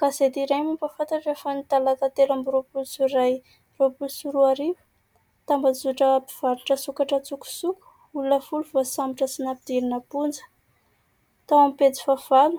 Gazety iray mampahafantatra fa ny talata telo amby jolay roapolo sy roa arivo "Tambazotra mpivarotra sokatra an-tsokosoko olona folo voasambotra sy nampidinina am-ponja. " tao amin'ny pejy fahavalo